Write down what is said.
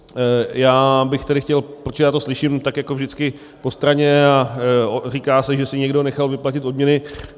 Já bych tedy chtěl - protože já to slyším tak jako vždycky, po straně, a říká se, že si někdo nechal vyplatit odměny.